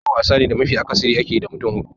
Ludo wasa ne da mafi akasari ake yi da mutum hudu.